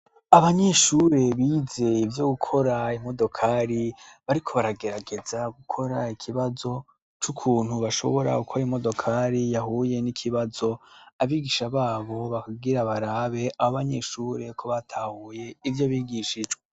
Abanyeshure bize ivyo gukora imodokari bariko baragerageza gukora ikibazo c'ukuntu bashobora gukora imodokari yahuye n'ikibazo, abigisha babo bakabwira barabe abo banyeshure ko batahuye ivyo bigishijwe.